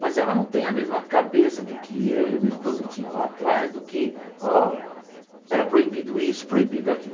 Mas ela não tem a mesma cabeça do que eu e a minha esposa tinha lá atrás, do que ó era proibido isso, proibido aquilo.